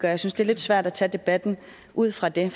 jeg synes det er lidt svært at tage debatten ud fra det